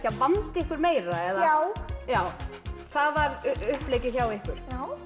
að vanda ykkur meira já já það var uppleggið hjá ykkur